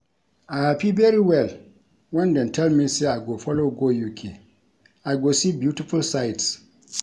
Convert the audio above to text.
I happy very well wen dey tell me say I go follow go UK. I go see beautiful sights